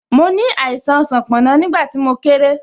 Mo ní àìsàn sanponna, nígbà tí mo kéré